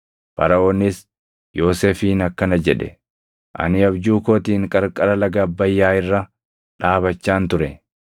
Faraʼoonis Yoosefiin akkana jedhe; “Ani abjuu kootiin qarqara laga Abbayyaa irra dhaabachaan ture;